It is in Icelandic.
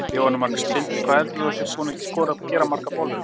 Jóhanna Margrét: Sindri, hvað heldurðu að þú sért búinn að skera margar bollur?